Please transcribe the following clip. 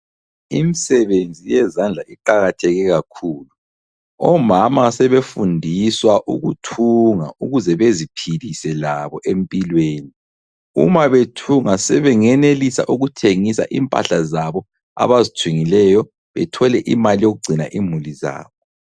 Imisebenzi yezandla iqakatheke kakhulu. Omama sebefundiswa ukuthunga ukuze beziphilise labo empilweni . Uma bethunga sebengenelisa ukuthengisa impahla zabo abazithungileyo bethole imali yokugcina imuli zabo.